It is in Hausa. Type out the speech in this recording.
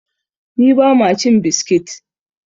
ni ba ma cin biskit!